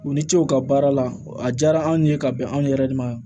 U ni ce u ka baara la a diyara anw ye ka bɛn anw yɛrɛ de ma